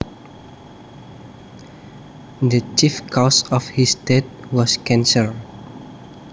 The chief cause of his death was cancer